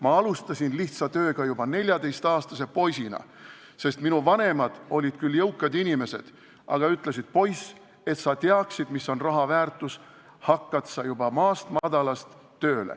Ma alustasin lihtsa tööga juba 14-aastase poisina, sest minu vanemad olid küll jõukad inimesed, aga ütlesid: "Poiss, et sa teaksid, mis on raha väärtus, hakkad sa juba maast madalast tööle.